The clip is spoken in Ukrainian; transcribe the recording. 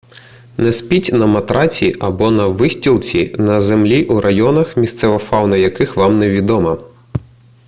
не спіть на матраці або на вистілці на землі у районах місцева фауна яких вам невідома